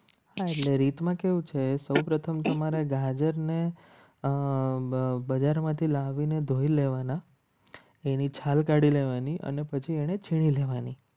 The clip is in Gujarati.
આ રીત માં કેવું છે. સૌપ્રથમ તમારે ગાજર ને બજારમાંથી લાવીને ધોઈ લેવાના એની છાલ કાઢી લેવાની અને પછી એને છીણી લેવાની